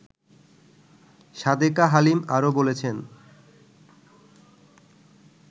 সাদেকা হালিম আরো বলছেন